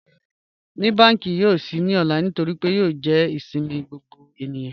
Ní bankí yòó ṣí ní òlà nítorí pé yòó jẹ́ ìṣẹ̀mi gbogbo ènìyàn?